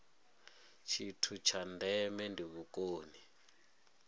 tshithu tsha ndeme ndi vhukoni